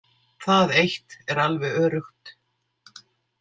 Það eitt er alveg öruggt.